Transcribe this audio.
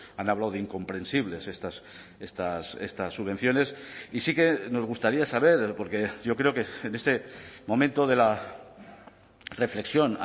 han hablado de incomprensibles estas subvenciones y sí que nos gustaría saber porque yo creo que en este momento de la reflexión